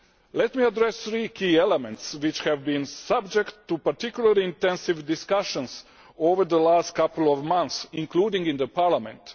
Let me address three key elements which have been subject to particularly intensive discussions over the last couple of months, including in this Parliament.